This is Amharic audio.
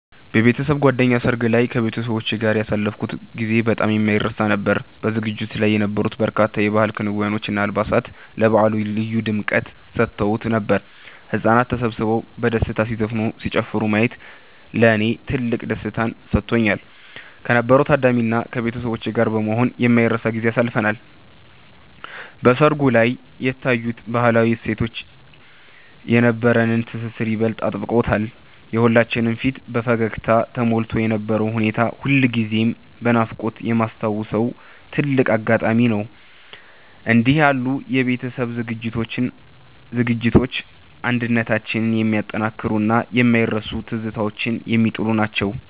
በቤተሰብ ጓደኛ ሰርግ ላይ ከቤተሰቦቼ ጋር ያሳለፍኩት ጊዜ በጣም የማይረሳ ነበር። በዝግጅቱ ላይ የነበሩት በርካታ የባህል ክዋኔዎች እና አልባሳት ለበዓሉ ልዩ ድምቀት ሰጥተውት ነበር። ህጻናት ተሰብስበው በደስታ ሲዘፍኑና ሲጨፍሩ ማየት ለኔ ትልቅ ደስታን ሰጥቶኛል። ከነበረው ታዳሚ እና ከቤተሰቦቼ ጋር በመሆን የማይረሳ ጊዜን አሳልፈናል። በሰርጉ ላይ የታዩት ባህላዊ እሴቶች የነበረንን ትስስር ይበልጥ አጥብቀውታል። የሁላችንም ፊት በፈገግታ ተሞልቶ የነበረው ሁኔታ ሁልጊዜም በናፍቆት የማስታውሰው ትልቅ አጋጣሚ ነው። እንዲህ ያሉ የቤተሰብ ዝግጅቶች አንድነታችንን የሚያጠናክሩና የማይረሱ ትዝታዎችን የሚጥሉ ናቸው።